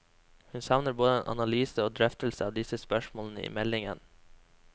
Hun savner både en analyse og drøftelse av disse spørsmålene i meldingen.